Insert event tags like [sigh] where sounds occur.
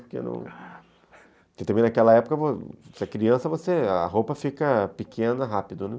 Porque [unintelligible] também naquela época, se é criança, a roupa fica pequena rápido, né?